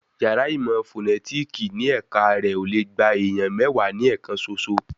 Yàrá ìmọ̀ fọ̀nẹ́tìkì ní ẹ̀ka rẹ̀ ò le gba èèyàn mẹ́wàá ní ẹ̀kan soso